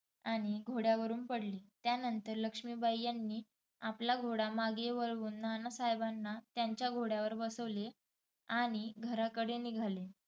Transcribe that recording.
आणि घोड्यावरून पडले. त्यानंतर लक्ष्मीबाई यांनी आपला घोडा मागे वळवून नानासाहेबांना त्यांच्या घोड्यावर बसवले आणि घराकडे निघाले.